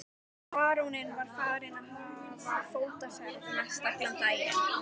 Baróninn var farinn að hafa fótaferð mestallan daginn.